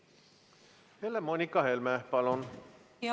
Helle-Moonika Helme, palun!